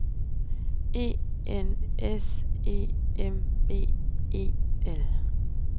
E N S E M B L E